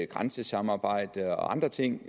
grænsesamarbejde og andre ting